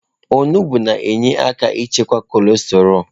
Onugbu na-enyere aka ịchịkwa cọlesterọ.